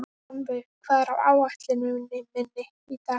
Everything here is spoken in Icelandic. Hjálmveig, hvað er á áætluninni minni í dag?